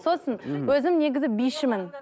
сосын өзім негізі бишімін